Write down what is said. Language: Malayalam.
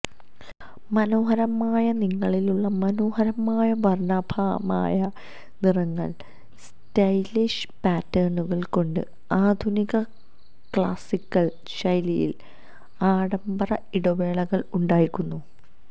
മനോഹരമായ നിറങ്ങളിലുള്ള മനോഹരമായ വർണാഭമായ നിറങ്ങൾ സ്റ്റൈലിഷ് പാറ്റേണുകൾ കൊണ്ട് ആധുനിക ക്ലാസിക്കൽ ശൈലിയിൽ ആഢംബര ഇടവേളകൾ ഉണ്ടാക്കുന്നു